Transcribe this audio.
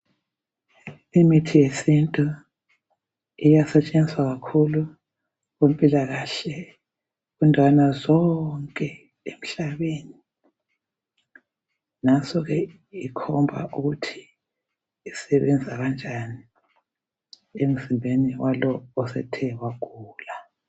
Imithi yesintu iyasetshenziswa kakhulu kumpilakahle kundawana zonke emhlabeni. Nanso ke ikhomba ukuthi isebenza kanjani emzimbeni walowo osethe wagula.